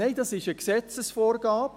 Nein, das ist eine Gesetzesvorgabe.